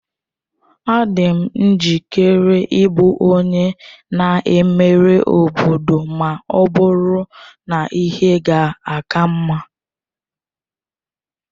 Adị m njikere ịbụ onye na-emere obodo ma ọ bụrụ na ihe ga-aka mma.